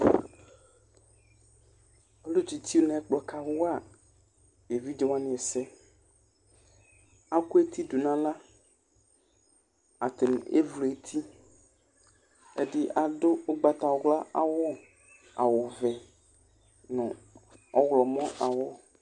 Ʋlu tsitsu ŋu ɛkplɔ kawa evidze waŋi ɛsɛ Aku eti ɖʋŋʋ aɣla Ataŋi evlu eti Ɛɖì aɖu ugbatawla awu, awu vɛ ŋu ɔwlɔmɔ awu